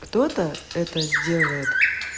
кто-то это сделает